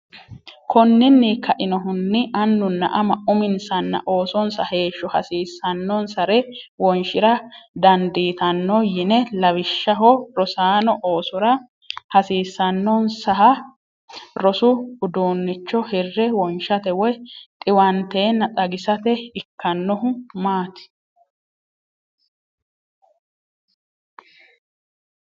Konninni kainohunni anunna ama uminsanna oosonsa heeshsho hasiisannonsare wonshi’ra didandiitanno yine Lawishshaho, rossano oosora hasiisannonsaha rosu uduunnicho hire wonshate woy dhiwanteenna xagisate ikkannohu maati?